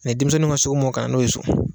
denmisɛnninw ŋa s'o mɔ kana n'o ye so